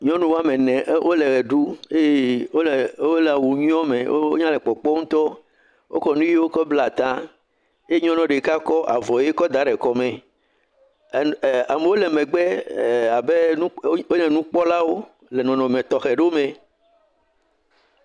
Nyɔnu woame ene e…wole eʋe ɖum wole …ee.. wole…awu nyuiwo me wonya le kpɔkpɔm ŋutɔ, wokɔ nu ʋiwo kɔ bla ta eye nyɔnua ɖeka kɔ avɔ ʋe kɔ da ɖe kɔ me, amewo le megbe eye wonye nukpɔlawo le nɔnɔme tɔxɛ ɖewo me.